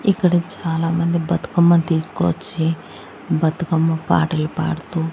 ఇక్కడ చాలామంది బతుకమ్మ తీసుకొచ్చి బతుకమ్మ పాటలు పాడుతూ--